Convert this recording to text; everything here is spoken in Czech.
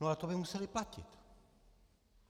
No ale to by musela platit.